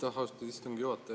Aitäh, austatud istungi juhataja!